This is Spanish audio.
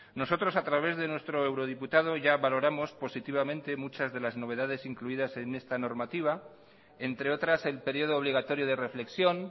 nosotros a través de nuestro eurodiputado ya valoramos positivamente muchas de las novedades incluidas en esta normativa entre otras el periodo obligatorio de reflexión